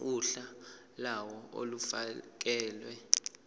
uhla lawo olufakelwe